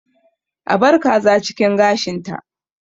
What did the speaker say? A bar kaza a cikin gashinta.